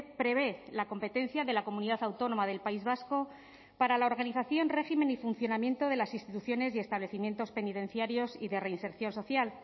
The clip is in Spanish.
prevé la competencia de la comunidad autónoma del país vasco para la organización régimen y funcionamiento de las instituciones y establecimientos penitenciarios y de reinserción social